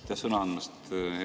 Aitäh sõna andmast!